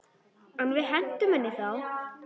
En við hentum henni þá.